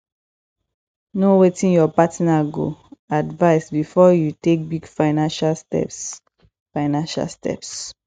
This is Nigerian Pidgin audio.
know wetin your partner go advice before you take big financial steps financial steps